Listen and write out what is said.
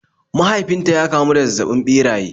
Mahaifin ta ya kamu da zazzabin ɓeraye